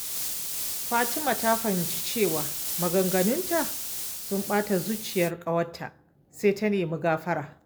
Fatima ta fahimci cewa maganganunta sun ɓata zuciyar ƙawarta, sai ta nemi gafara.